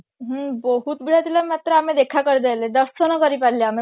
ହୁଁ ବହୁତ ଭିଡ ଥିଲା ମାତ୍ର ଆମେ ଦେଖା କରି ପାରିଲେ ଦର୍ଶନ କରି ପାରିଲେ ଆମେ